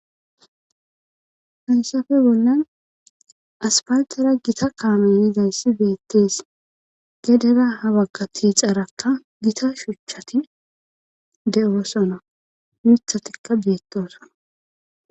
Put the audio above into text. Ha'isafe bollan aspaltara gita kaanoy hizayssi beettees gedera habagga ti xarakka gita shuchchati de7osona mithatikka beettosona